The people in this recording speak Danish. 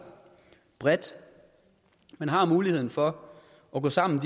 bredt man har mulighed for at gå sammen